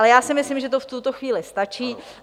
Ale já si myslím, že to v tuto chvíli stačí.